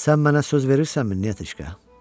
Sən mənə söz verirsənmi, Nyetochka?